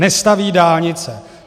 Nestaví dálnice.